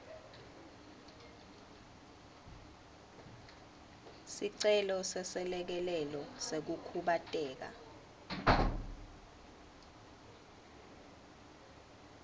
sicelo seselekelelo sekukhubateka